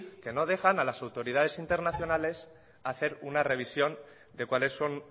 que no dejan a las autoridades internacionales hacer una revisión de cuáles son